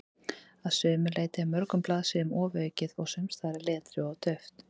Að sumu leyti er mörgum blaðsíðum ofaukið og sumsstaðar er letrið of dauft.